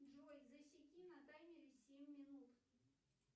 джой засеки на таймере семь минут